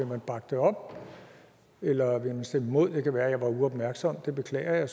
man bakke det op eller vil man stemme imod det det kan være jeg var uopmærksom det beklager